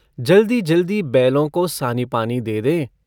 जल्दीजल्दी बैलों को सानीपानी दे दें।